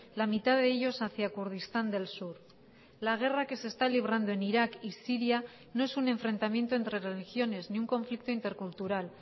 la mitad de ellos hacia kurdistán del sur la guerra que se está librando en irak y siria no es un enfrentamiento entre religiones ni un conflicto intercultural